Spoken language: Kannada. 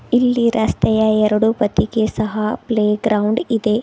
ಇಲ್ಲಿ ರಸ್ತೆಯ ಎರಡು ಬದಿಗೆ ಸಹ ಪ್ಲೇ ಗ್ರೌಂಡ್ ಇದೆ.